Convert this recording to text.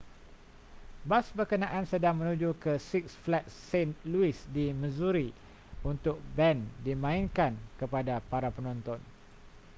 bas berkenaan sedang menuju ke six flags st louis di missouri untuk band dimainkan kepada para penonton